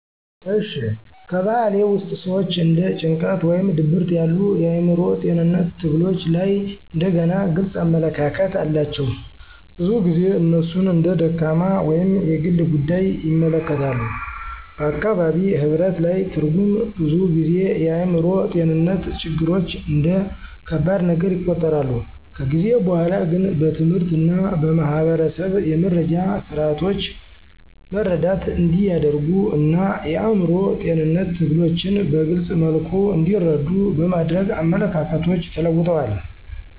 እሺ፣ ከበባህልዬ ውስጥ ሰዎች እንደ ጭንቀት ወይም ድብርት ያሉ የአእምሮ ጤንነት ትግሎች ላይ እንደገና ግልጽ አመለካከት አላቸው። ብዙ ጊዜ እነሱን እንደ ደካማ ወይም የግል ጉዳይ ይመለከታሉ፣ በአካባቢ ህብረት ላይ ትርጉም ብዙ ጊዜ የአእምሮ ጤንነትን ችግሮች እንደ ከባድ ነገር ይቆጠራል። ከጊዜ በኋላ ግን በትምህርት እና በማህበረሰብ የመረጃ ስርዓቶች መረዳት እንዲያደርጉ እና የአእምሮ ጤንነት ትግሎችን በግልፅ መልኩ እንዲረዱ በማድረግ አመለካከቶች ተለውጠዋል።